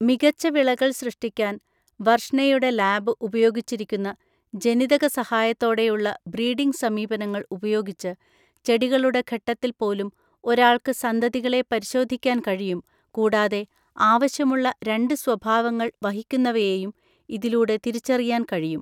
മികച്ച വിളകൾ സൃഷ്ടിക്കാൻ വർഷ്‌നെയുടെ ലാബ് ഉപയോഗിച്ചിരിക്കുന്ന ജനിതക സഹായത്തോടെയുള്ള ബ്രീഡിംഗ് സമീപനങ്ങൾ ഉപയോഗിച്ച് ചെടികളുടെ ഘട്ടത്തിൽ പോലും ഒരാൾക്ക് സന്തതികളെ പരിശോധിക്കാൻ കഴിയും കൂടാതെ ആവശ്യമുള്ള രണ്ട് സ്വഭാവങ്ങൾ വഹിക്കുന്നവയെയും ഇതിലൂടെ തിരിച്ചറിയാൻ കഴിയും.